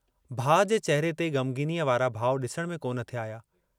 भाउ जे चेहरे ते ग़मग़ीनीअ वारा भाव डिसण में कोन थे आहिया।